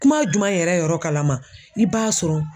Kuma jumɛn yɛrɛ yɔrɔ kalama i b'a sɔrɔ.